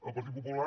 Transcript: el partit popular